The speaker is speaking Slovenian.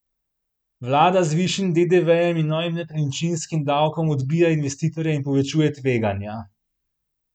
Vlada z višjim dedevejem in novim nepremičninskim davkom odbija investitorje in povečuje tveganja.